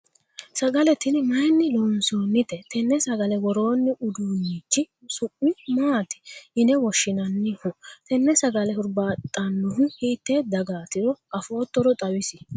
sagale tini mayiinni loonsonnite? tenne sagale worroonni uduunnichi su'mi maati yine woshshinanniho? tenne sagale hurbaaxxannohu hiite dagaatiro afoottoro xawisie ?